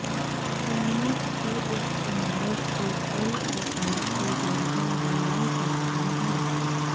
पनीर के इस्तेमाल से कई प्रकार के व्यंजन बनाए जाते हैं